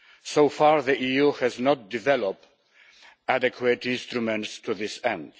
So far, the EU has not developed adequate instruments to this end.